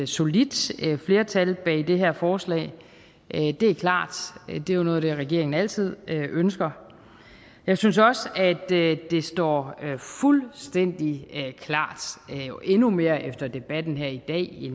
solidt flertal bag det her forslag det det er klart det er noget af det regeringen altid ønsker jeg synes også at det står fuldstændig klart endnu mere efter debatten her i